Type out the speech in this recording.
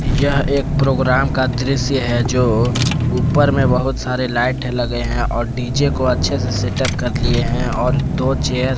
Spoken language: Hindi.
यह एक प्रोग्राम का दृश्य है जो ऊपर मे बहुत सारे लाइट लगे हैं और डी_जे को अच्छे से सेटअप कर लिए हैं और दो चेयर --